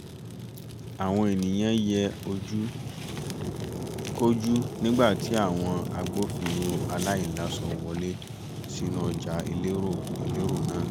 àwọn ènìyàn yẹ ojú-kojú nígbà tí àwọn agbófinró aláìláṣọ wọlé sínú ọjà elérò elérò náà